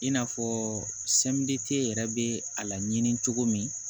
In n'a fɔ yɛrɛ bɛ a laɲini cogo min